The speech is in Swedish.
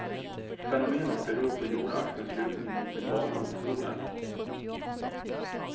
Fenomenet beror på jordaxelns lutning mot sin bana mot solen.